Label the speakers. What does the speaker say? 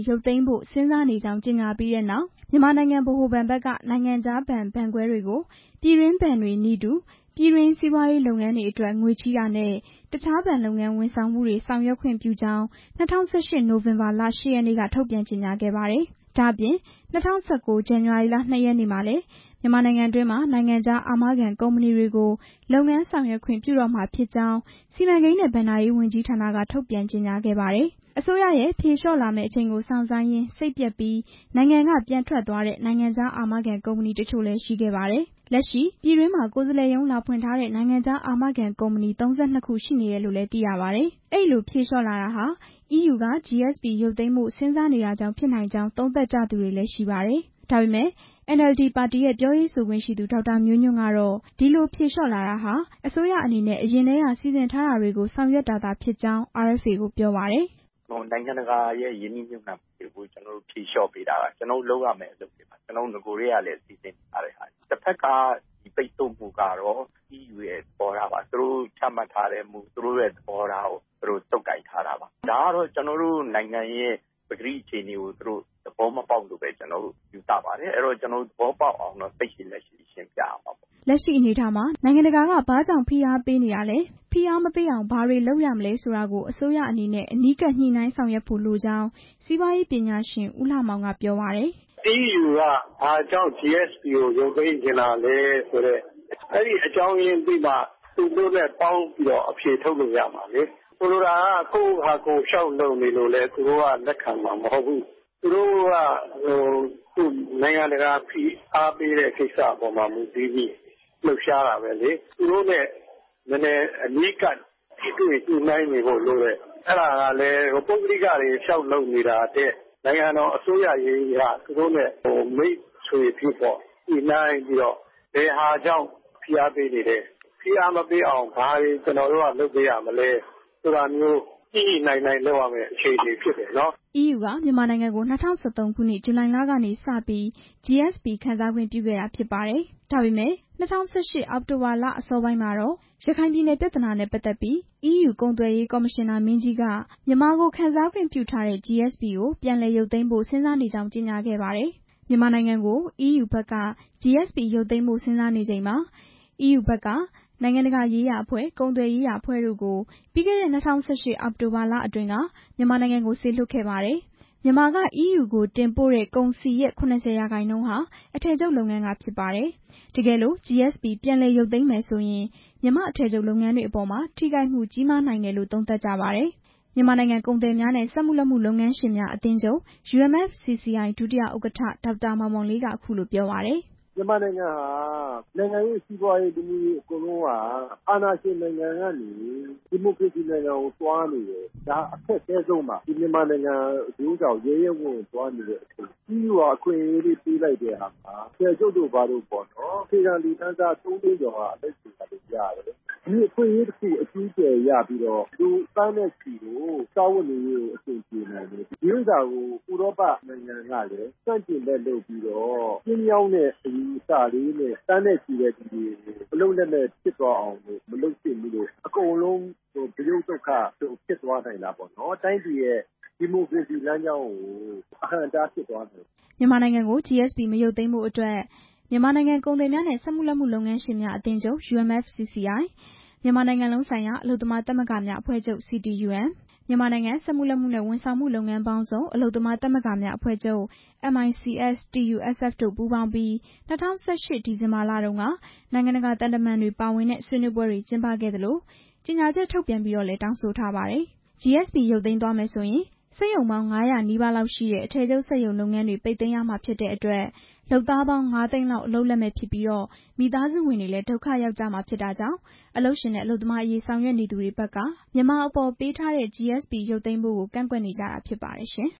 Speaker 1: ရုပ်သိမ်းဖို့ စဉ်းစားနေကြောင်း ကြေညာပြီးတဲ့နောက် မြန်မာနိုင်ငံ ဗဟိုဘဏ်ဘက်က နိုင်ငံခြားဘဏ်၊ ဘဏ်ခွဲတွေကို ပြည်တွင်းဘဏ်တွေနည်းတူ ပြည်တွင်းစီးပွားရေး လုပ်ငန်းတွေအတွက် ငွေချေးတာနဲ့ တစ်ခြားဘဏ်လုပ်ငန်းဝန်ဆောင်မှုတွေ ဆောင်ရွက်ခွင့်ပြုကြောင်း ၂၀၁၈ နိုဝင်ဘာလ ၈ ရက်နေ့က ထုတ်ပြန်ကြေညာခဲ့ပါတယ်။ ဒါ့အပြင် ၂၀၁၉ ဇန်နဝါရီ ၂ ရက်နေ့မှာလည်း မြန်မာနိုင်ငံတွင်းမှာ နိုင်ငံခြားအာမခံကုမ္ပဏီတွေကို လုပ်ငန်းဆောင်ရွက်ခွင့်ပြုတော့မှာဖြစ်ကြောင်း စီမံကိန်းနဲ့ ဘဏ္ဍာရေးဝန်ကြီးဌာနက ထုတ်ပြန်ကြေညာခဲ့ပါတယ်။ အစိုးရရဲ့ ဖြေလျှော့လာမယ့်အချိန်ကို စောင့်ဆိုင်းရင်း စိတ်ပျက်ပြီး နိုင်ငံက ပြန်ထွက်သွားတဲ့ နိုင်ငံခြားအာမခံ ကုမ္ပဏီတချို့လည်း ရှိခဲ့ပါတယ်။ လက်ရှိပြည်တွင်းမှာ ကိုယ်စားလှယ်ရုံး လာဖွင့်ထားတဲ့ နိုင်ငံခြားအာမခံ ကုမ္ပဏီ ၃၂ ခု ရှိနေတယ်လို့လည်း သိရပါတယ်။ အဲဒီလိုတွေ ဖြေလျှော့လာတာဟာ EU က GSP ရုပ်သိမ်းဖို့ စဉ်းစားနေတာကြောင့် ဖြစ်နိုင်ကြောင်း သုံးသပ်ကြသူတွေလည်း ရှိပါတယ်။ ဒါပေမဲ့ NLD ပါတီရဲ့ ပြောရေးဆိုခွင့်ရှိသူ ဒေါက်တာ မျိုးညွှန့်ကတော့ ဒီလိုဖြေလျှော့လာတာဟာ အစိုးရအနေနဲ့ အရင်ကတည်းက စီစဉ်ထားတာတွေကို ဆောင်ရွက်တာသာဖြစ်ကြောင်း RFA ကို ပြောပါတယ်။ "
Speaker 2: နိုင်ငံတကာရဲ့ ရင်းနှီးမြှုပ်နှံမှုတွေကို ဖြေလျှော့ပေးတာက ကျနော်တို့ လုပ်ရမယ့်အလုပ်တွေပါ၊ နဂိုကတည်းကလည်း စီစဉ်ထားတာပါ၊ တစ်ဖက်က ပိတ်ဆို့မှုကတော့ EU ရဲ့သဘောထားပါ၊ ကျနော်တို့ နိုင်ငံရဲ့ ပကတိအခြေအနေကို သူတို့ သဘောမပေါက်လို့လို့ပဲ ယူဆပါတယ်၊ ကျနော်တို့ သဘောပေါက်အောင် စိတ်ရှည်လက်ရှည် ဆက်ပြီးရှင်းပြရမှာပေါ့
Speaker 1: " လက်ရှိအနေအထားမှာ နိုင်ငံတကာက ဘာတွေကြောင့် ဖိအားပေးနေတာလဲ၊ ဖိအားမပေးအောင် ဘာတွေလုပ်ရမလဲဆိုတာကို အစိုးရအနေနဲ့ အနီးကပ် ညှိနှိုင်းဆောင်ရွက်ဖို့လိုကြောင်း စီးပွားရေးပညာရှင် ဦးလှမောင်က ပြောပါတယ်
Speaker 2: ။ "EU က ဘာကြောင့် GSP ကိုရုပ်သိမ်းချင်တာလဲဆိုတဲ့ အကြောင်းရင်းသိမှ သူတို့နဲ့ ပေါင်းပြီးအဖြေထုတ်လို့ ရမှာလေ၊ ကိုယ့်ဟာကိုယ် လျှောက်လုပ်နေလို့လည်း သူတို့က လက်ခံမှာ မဟုတ်ဘူး၊ သူတို့နဲ့ အနီးကပ်ထိတွေ့ ညှိနှိုင်းနေဖို့လိုတယ်၊ အဲဒါကလည်း ပုဂ္ဂလိကတွေ လျှောက်လုပ်နေတာထက် နိုင်ငံတော်အစိုးရက သူတို့နဲ့ မိတ်ဆွေဖြစ်ညှိနှိုင်းပြီးတော့ ဘယ်ဟာကြောင့် ဖိအားပေးနေလဲ၊ ဖိအားမပေးအောင် ဘာတွေလုပ်ရမလဲဆိုတာမျိုး
Speaker 1: ညှိညှိနှိုင်းနှိုင
Speaker 2: ်း လုပ်ရမယ့် အခြေအနေဖြစ်တယ်"
Speaker 1: EU က မြန်မာနိုင်ငံကို ၂၀၁၃ ခုနှစ် ဇူလိုင်လကနေစပြီး GSP ခံစားခွင့်ပြုခဲ့တာ ဖြစ်ပါတယ်။ ဒါပေမဲ့ ၂၀၁၈ အောက်တိုဘာလ အစောပိုင်းမှာတော့ ရခိုင်ပြည်နယ်ပြဿနာနဲ့ ပတ်သက်ပြီး EU ကုန်သွယ်ရေးကော်မရှင်နာ မင်းကြီးက မြန်မာကို ခံစားခွင့်ပြုထားတဲ့ GSP ကို ပြန်လည်ရုပ်သိမ်းဖို့ စဉ်းစားနေကြောင်း ကြေညာခဲ့ပါတယ်။ မြန်မာနိုင်ငံကို EU က GSP ရုပ်သိမ်းဖို့ စဉ်းစားနေချိန်မှာ EU ဘက်က နိုင်ငံတကာရေးရာအဖွဲ့၊ ကုန်သွယ်ရေးရာ အဖွဲ့တို့ကို ပြီးခဲ့တဲ့ အောက်တိုဘာလအတွင်းက မြန်မာနိုင်ငံကို စေလွှတ်ခဲ့ပါတယ်။ မြန်မာက EU ကို တင်ပို့တဲ့ ကုန်စည်ရဲ့ ၇၀ ရာခိုင်နှုန်းဟာ အထည်ချုပ်လုပ်ငန်းက ဖြစ်ပါတယ်။ တကယ်လို့ GSP ပြန်လည်ရုပ်သိမ်းမယ်ဆိုရင် မြန်မာ့အထည်ချုပ်လုပ်ငန်းတွေအပေါ် ထိခိုက်မှုကြီးနိုင်တယ်လို့ သုံးသပ်ကြပါတယ်။ မြန်မာနိုင်ငံ ကုန်သည်များနဲ့ စက်မှုလက်မှုလုပ်ငန်းရှင်များအသင်းချုပ် UMFCCI ဒုတိယ ဥက္ကဋ္ဌ ဒေါက်တာ မောင်မောင်လေးက အခုလို ပြောပါတယ်။ "
Speaker 2: မြန်မာနိုင်ငံဟာ
Speaker 3: အာဏာရှင်နိုင်ငံကနေ ဒီမိုကရေစီနိုင်ငံကို သွားနေတဲ့အချိန် EU က အခွင့်အရေးလေးပေးလိုက်တဲ့အခါမှာ အထည်ချုပ်တို့ ဘာတို့ပေါ့နော်၊ အခြေခံလူတန်းစား ၃ သိန်းကျော်က အလုပ်တွေ ဘာတွေရတယ်၊ လူသန်းနဲ့ချီကို စားဝတ်နေရေးတွေ အဆင်ပြေနိုင်တယ်၊ ဒီဟာကို ဥရောပနိုင်ငံတွေကလည်း ဆန့်ကျင်ဖက်လုပ်ပြီးတော့ ကျဉ်းမြောင်းတဲ့ အယူအဆလေးနဲ့ သန်းနဲ့ချီတဲ့လူတွေကို အလုပ်လက်မဲ့ဖြစ်သွားအောင် မလုပ်သင့်ဘူး၊ အကုန်လုံး ဗရုတ်သုတ်ခဖြစ်သွားနိုင်တာပေါ့နော်၊ တိုင်းပြည်ရဲ့ ဒီမိုကရေစီလမ်းကြောင်းကို အဟန့်အတားဖြစ်သွားနိုင်
Speaker 1: တယ်" မြန်မာနိုင်ငံကို GSP မရုပ်သိမ်းဖို့အတွက် မြန်မာနိုင်ငံ ကုန်သည်များနဲ့ စက်မှုလက်မှုလုပ်ငန်းရှင်များ အသင်းချုပ် ၊ မြန်မာနိုင်ငံလုံးဆိုင်ရာ အလုပ်သမားသမဂ္ဂများအဖွဲ့ချုပ် ၊ မြန်မာနိုင်ငံ စက်မှုလက်မှုနဲ့ ဝန်ဆောင်မှုလုပ်ငန်းပေါင်းစုံ အလုပ်သမား သမဂ္ဂများအဖွဲ့ချုပ် တို့ပူးပေါင်းပြီး ၂၀၁၈ ဒီဇင်ဘာလအတွင်းက နိုင်ငံတကာ သံတမန်တွေ ပါဝင်တဲ့ ဆွေးနွေးပွဲတွေ ကျင်းပခဲ့သလို ကြေညာချက်ထုတ်ပြန်ပြီးလည်း တောင်းဆိုထားပါတယ်။ GSP ရုပ်သိမ်းပါက စက်ရုံပေါင်း ၅၀၀ နီးပါးလောက်ရှိတဲ့ အထည်ချုပ်စက်ရုံလုပ်ငန်းတွေ ပိတ်သိမ်းရမှာဖြစ်တဲ့အတွက် လုပ်သားပေါင်း ၅ သိန်းလောက် အလုပ်လက်မဲ့ဖြစ်ပြီး မိသားစုဝင်တွေလည်း ဒုက္ခရောက်ကြရမှာကြောင့် အလုပ်ရှင်နဲ့ အလုပ်သမားအရေး ဆောင်ရွက်နေသူတွေဘက်က မြန်မာအပေါ်ပေးထားတဲ့ GSP ရုပ်သိမ်းဖို့ကို ကန့်ကွက်နေကြတာ ဖြစ်ပါတယ်ရှင်